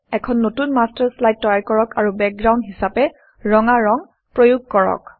এখন নতুন master slide তৈয়াৰ কৰক আৰু বেকগ্ৰাউণ্ড হিচাপে ৰঙা ৰং প্ৰয়োগ কৰক